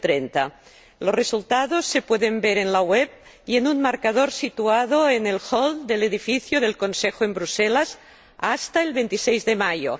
2030. Los resultados se pueden ver en la web y en un marcador situado en el hall del edificio del Consejo en Bruselas hasta el 26 de mayo.